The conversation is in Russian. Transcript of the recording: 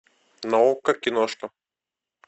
на окко киношка